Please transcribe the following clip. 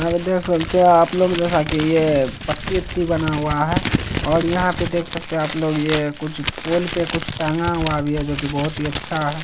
यहां पे देख सकते है आप लोग जैसा की ये पत्ती वत्ती बना हुआ है और यहाँ पे देख सकते आप लोग ये कुछ पोल पे कुछ टंगा हुआ भी है जोकि बहोत ही अच्छा है।